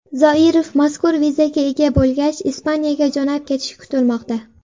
Zoirov mazkur vizaga ega bo‘lgach, Ispaniyaga jo‘nab ketishi kutilmoqda.